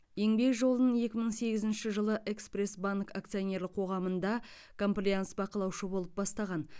еңбек жолын екі мың сегізінші жылы экспресс банк акционерлік қоғамында комплаенс бақылаушы болып бастаған